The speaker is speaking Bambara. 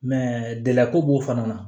gɛlɛya ko b'o fana na